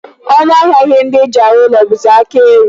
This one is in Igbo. Ọnụ ahịa ihe ndị e ji arụ ụlọ bụzi aka eru.